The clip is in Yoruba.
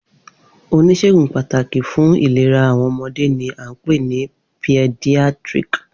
Onisegun pataki fun ilera awọn ọmọde ni a npe ni paediatric.